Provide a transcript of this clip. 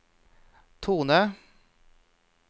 tone